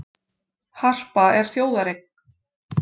Harpa er þjóðareign